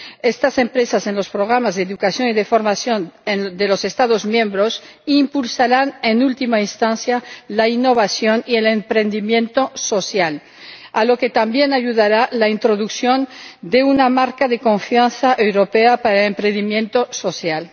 Estas empresas, en los programas de educación y de formación de los Estados miembros, impulsarán, en última instancia, la innovación y el emprendimiento social, a lo que también ayudará la introducción de una marca de confianza europea para el emprendimiento social.